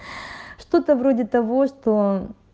что-то вроде того что